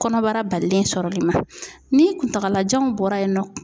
Kɔnɔbara balilen sɔrɔli ma ni kuntagalajan bɔra yen nɔ.